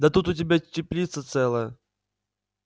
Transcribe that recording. да тут у тебя теплица целая